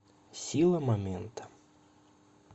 сила момента